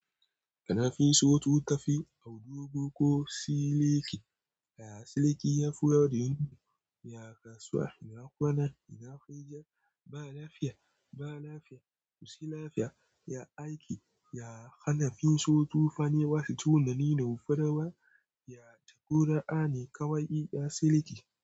Kana finso tu tafe audugo ko siliki. Ya siliki ya fura da yunƙi. Ya kasuwa ina kwana ina gajiya. Ba lafiya ba lafiya ko sai lafiya. Ya aiki ya hana finso tufane wasu tunanin ya rufa dawa. Ya jagora ani kawai ya siliki.